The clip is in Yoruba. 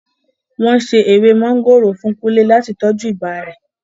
Wọn ṣe èwe mọ̀ngòrò fún kúnle láti tọju ibà rẹ̀